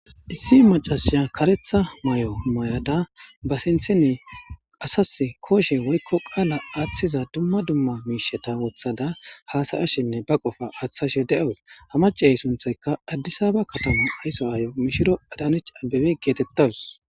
Issi macasiya karetha may'o may'ada ba sintheni asas kooshe woykko qaala aaththiza dumma dumma miisheta wothada haasayashinne ba qofa aththashe deawus ha macey sunthayka addisaba kataman ayso ay mishiro adanich abbebe geetettadus.